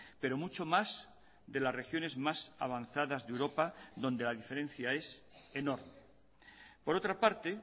pero mucho más de las regiones más avanzadas de europa donde la diferencia es enorme por otra parte